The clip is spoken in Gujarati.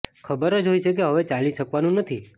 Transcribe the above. ખબર જ હોય છે કે હવે ચાલી શકવાનું નથી